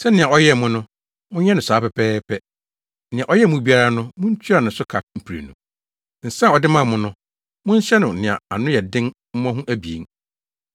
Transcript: Sɛnea ɔyɛɛ mo no, monyɛ no saa pɛpɛɛpɛ; nea ɔyɛɛ mo biara no, muntua ne so ka mprenu. Nsa a ɔde maa mo no, monhyɛ no nea ano yɛ den mmɔho abien.